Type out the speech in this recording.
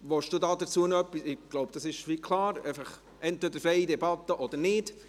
Ich denke, es ist klar: Entweder gibt es eine freie Debatte oder nicht.